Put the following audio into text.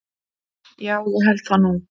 Já ég held það nú.